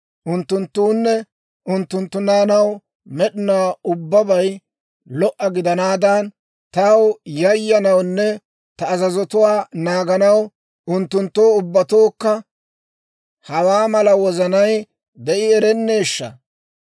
Unttunttuwunne unttunttu naanaw med'inaw ubbabay lo"a gidanaadan, taw yayyanawunne ta azazotuwaa naaganaw unttunttoo ubbatookka hawaa mala wozanay de'i erenneeshsha!